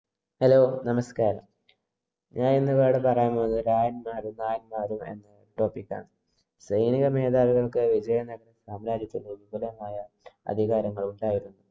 Hello, നമസ്കാരം. ഞാനിന്നിവിടെ പറയാന്‍ പോകുന്നത് രായന്മാരും, നായന്മാരും എന്ന topic ആണ്. സൈനിക മേധാവികള്‍ക്കായി വിജയനഗര സാമ്രാജ്യത്തില്‍ വിപുലമായ അധികാരങ്ങള്‍ ഉണ്ടായിരുന്നു.